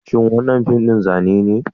Shin wannan fim din Zane be?